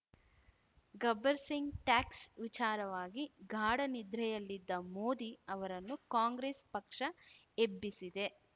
Gabbar Singh tax ವಿಚಾರವಾಗಿ ಗಾಢ ನಿದ್ರೆಯಲ್ಲಿದ್ದ ಮೋದಿ ಅವರನ್ನು ಕಾಂಗ್ರೆಸ್‌ ಪಕ್ಷ ಎಬ್ಬಿಸಿದೆ